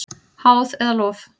Háð eða lof?